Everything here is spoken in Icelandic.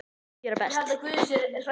Gera best.